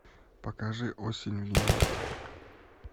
покажи осень в нью йорке